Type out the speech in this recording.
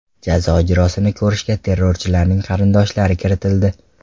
Jazo ijrosini ko‘rishga terrorchilarning qarindoshlari kiritildi.